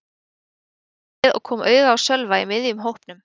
Ég sneri mér við og kom auga á Sölva í miðjum hópnum.